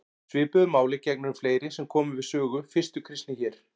Svipuðu máli gegnir um fleiri sem komu við sögu fyrstu kristni hér.